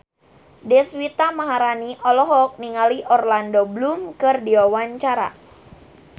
Deswita Maharani olohok ningali Orlando Bloom keur diwawancara